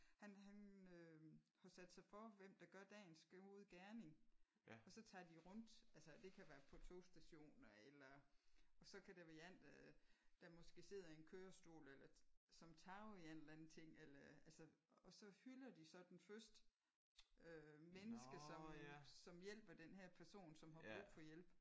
Han han øh har sat sig for hvem der gør dagens gode gerning og så tager de rundt. Altså det kan være på togstationer eller og så kan det være en der der måske sidder i en kørestol eller som taber en eller anden ting eller altså og så hylder de så den første menneske som som hjælper den her person som har brug for hjælp